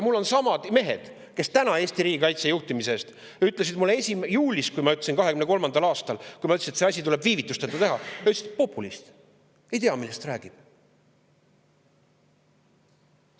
Kuid samad mehed, kes täna Eesti riigikaitse juhtimise eest ütlesid mulle juulis, nagu ma ütlesin, 2023, kui ma ütlesin, et see asi tuleb viivitusteta ära teha, et ma olen populist ega tea, millest ma räägin.